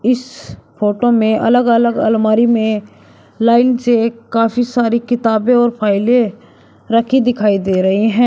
इस फोटो में अलग अलग अलमारी में लाइन से काफी सारी किताबें और फाइलें रखी दिखाई दे रही है।